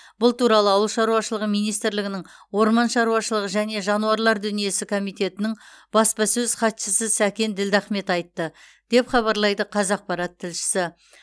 бұл туралы ауыл шаруашылығы министрлігінің орман шаруашылығы және жануарлар дүниесі комитетінің баспасөз хатшысы сәкен ділдахмет айтты деп хабарлайды қазақпарат тілшісі